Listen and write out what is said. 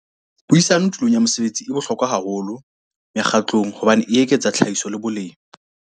Puisano tulong ya mosebetsi e bohlokwa haholo mekgatlong hobane e eketsa tlhahiso le boleng.